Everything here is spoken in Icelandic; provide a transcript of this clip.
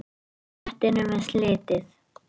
Réttinum er slitið.